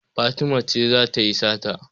Fatima ce za ta yi sata.